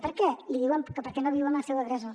per què li diuen que perquè no viu amb el seu agressor